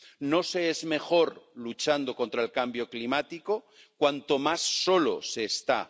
No se es mejor luchando contra el cambio climático cuanto más solo se está.